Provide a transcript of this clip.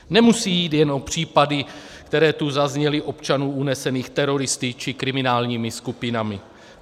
Nemusí jít jenom o případy, které tu zazněly, občanů unesených teroristy či kriminálními skupinami.